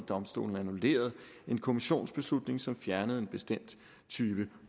domstolen en kommissionsbeslutning som fjernede en bestemt type